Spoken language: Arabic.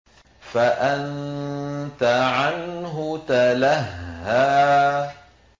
فَأَنتَ عَنْهُ تَلَهَّىٰ